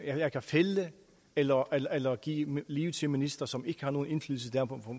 jeg kan fælde eller eller give liv til ministre som ikke har nogen indflydelse der